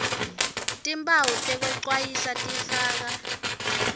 timphawu tekwecwayisa tifaka